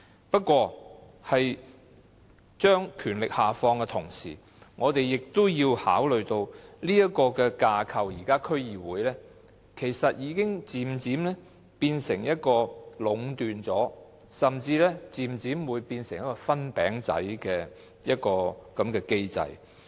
不過，把權力下放的同時，我們亦要考慮到現時區議會的架構，已經漸漸變成壟斷甚至是"分餅仔"的機制。